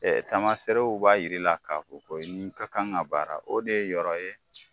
tamaseerew b'a yir'i la k'a fɔ ko nin kan ka baara o de ye yɔrɔ ye